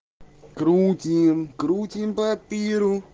круутим крутим папиру